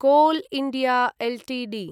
call India Ltd